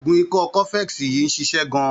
Oògùn ikọ́ cofex yìí ń ṣịṣẹ́ gan-an.